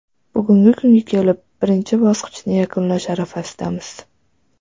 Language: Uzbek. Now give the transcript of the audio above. Bugungi kunga kelib, birinchi bosqichni yakunlash arafasidamiz.